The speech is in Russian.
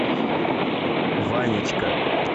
ванечка